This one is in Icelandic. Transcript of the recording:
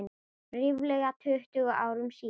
Ríflega tuttugu árum síðar.